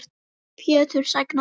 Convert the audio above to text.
Pétur: Sængað?